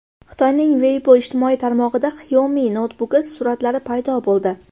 Xitoyning Weibo ijtimoiy tarmog‘ida Xiaomi noutbuki suratlari paydo bo‘ldi.